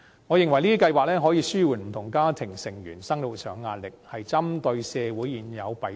我認為，這些計劃可以紓緩不同家庭成員的生活壓力，針對社會現有的弊病。